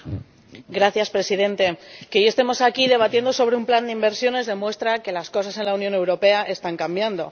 Señor Presidente, que hoy estemos aquí, debatiendo sobre un plan de inversiones, demuestra que las cosas en la Unión Europea están cambiando.